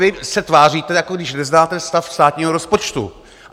Vy se tváříte, jako když neznáte stav státního rozpočtu.